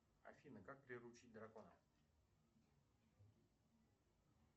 афина как приручить дракона